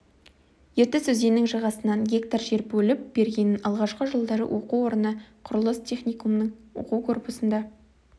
ертіс өзенінің жағасынан гектар жер бөліп бергенін алғашқы жылдары оқу орны құрылыс техникумының оқу корпусында